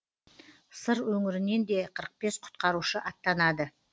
сыр өңірінен де қырық бес құтқарушы аттанады